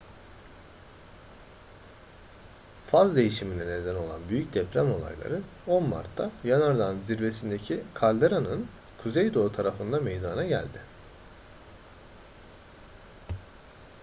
faz değişimine neden olan büyük deprem olayları 10 mart'ta yanardağın zirvesindeki kalderanın kuzeydoğu tarafında meydana geldi